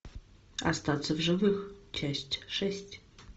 остаться в живых часть шесть